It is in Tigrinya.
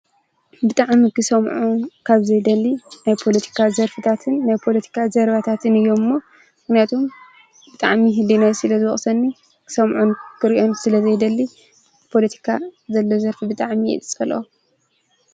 ብጥዕምጊሰምዖን ካብ ዘይደሊ ናይ ጶሎቲካ ዘርፍታትን ናይ ጶሎቲካ ዝዘርባታትን እዮም እሞ ግነቱም ብጥዕሚ ሕዲ ናይ ስለ ዝወቕሰኒ ክሰምዖን ክርእዮን ስለ ዘይደሊ ጶሎቲካ ዘሎዘርፊ ብጥዕሚ የጸለ።